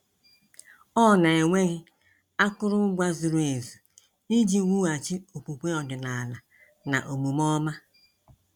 Ọ na-enweghị akụrụngwa zuru ezu iji wughachi okwukwe ọdịnala na omume ọma.